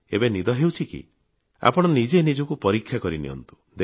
ଏବେ ନଦି ହେଉଛି କି ଆପଣ ନିଜେ ନିଜକୁ ପରୀକ୍ଷା କରିନିଅନ୍ତୁ